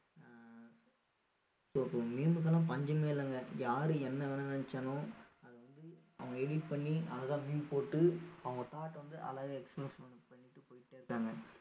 ஆஹ் so meme க்கு எல்லாம் பஞ்சமே இல்லைங்க யாரு என்ன வேணா நினைச்சாலும் அத வந்து அவங்க edit பண்ணி அழகா meme போட்டு அவங்க thought அ வந்து அழகா express பண்ணிட்டு போயிட்டே இருக்காங்க